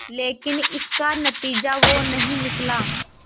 लेकिन इसका नतीजा वो नहीं निकला